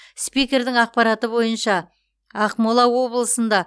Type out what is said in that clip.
спикердің ақпараты бойынша ақмола облысында